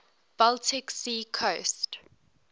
baltic sea coast